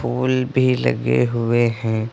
फूल भी लगे हुए हैं।